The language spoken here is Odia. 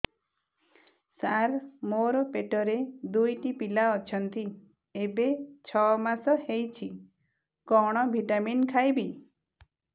ସାର ମୋର ପେଟରେ ଦୁଇଟି ପିଲା ଅଛନ୍ତି ଏବେ ଛଅ ମାସ ହେଇଛି କଣ ଭିଟାମିନ ଖାଇବି